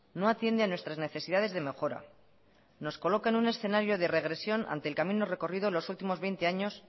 no atiende a nuestras necesidades de mejora nos coloca en un escenario de regresión ante el camino recorrido los últimos veinte años